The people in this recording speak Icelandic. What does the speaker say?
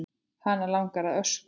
Hana langar að öskra.